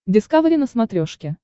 дискавери на смотрешке